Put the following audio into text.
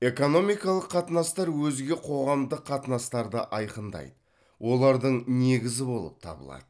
экономикалық қатынастар өзге қоғамдық қатынастарды айқындайды олардың негізі болып табылады